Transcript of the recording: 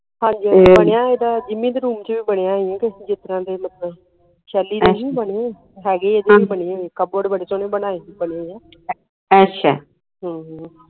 ਹਾਂਜੀ ਹਾਂਜੀ ਬਣਿਆ ਏਦਾਂ ਜਿੱਮੀ ਦੇ room ਚ ਵੀ ਬਣਿਆ ਏ ਨਹੀਂ ਕੇ ਜਿਸਤਰਾਂ ਦੇ ਮਤਲਬ ਸ਼ੈਲੀ ਦੇ ਹੀ ਬਣੇ ਹੈਗੇ ਏਦੇ ਵੀ ਬਣੇ cupboard ਬੜੇ ਸੋਹਣੇ ਬਣਾਏ ਬਣੇ ਆ ਹਮ